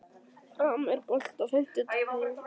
Ram, er bolti á fimmtudaginn?